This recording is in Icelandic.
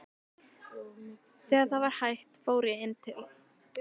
Þegar það var hætt fór ég inn til